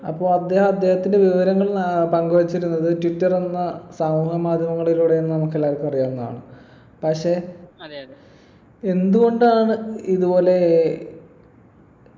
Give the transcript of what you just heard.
അപ്പൊ അദ്ദേഹം അദ്ദേഹത്തിൻ്റെ വിവരങ്ങൾ ആഹ് പങ്കുവച്ചിരുന്നത് ട്വിറ്റർ എന്ന സമൂഹ മാധ്യമങ്ങളിലൂടെയാന്ന് നമുക്കെല്ലാവർക്കും അറിയാവുന്നതാണ് പക്ഷെ എന്തുകൊണ്ടാണ് ഇതുപോലെ